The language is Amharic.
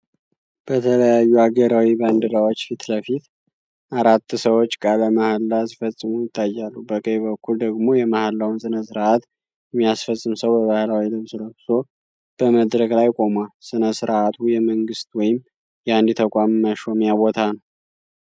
በተለያዩ አገራዊ ባንዲራዎች ፊት ለፊት አራት ሰዎች ቃለ መሐላ ሲፈጽሙ ይታያሉ። በቀኝ በኩል ደግሞ የመሐላውን ሥነ ሥርዓት የሚያስፈጽም ሰው በባህላዊ ልብስ ለብሶ በመድረክ ላይ ቆሟል። ሥነ ሥርዓቱ የመንግሥት ወይም የአንድ ተቋም መሾሚያ ቦታ ነው።